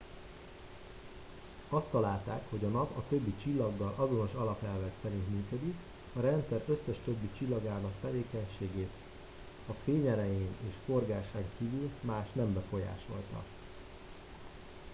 azt találták hogy a nap a többi csillaggal azonos alapelvek szerint működik a rendszer összes többi csillagának tevékenységét a fényerején és forgásán kívül más nem befolyásolta